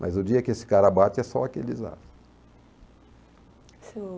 Mas o dia que esse cara bate é só aquele desastre. Senhor